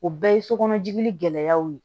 O bɛɛ ye sokɔnɔjigin gɛlɛyaw ye